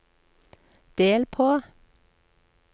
del på